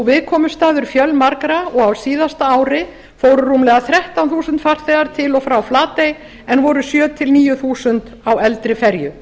viðkomustaður fjölmargra og á síðasta ári fóru rúmlega þrettán þúsund farþegar til og frá flatey en voru sjö til níu þúsund á eldri ferju